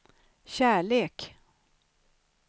kärlek